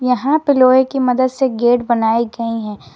यहां पे लोहे की मदद से गेट बनाए गए हैं।